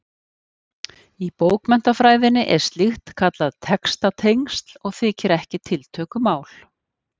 Í bókmenntafræðinni er slíkt kallað textatengsl og þykir ekki tiltökumál.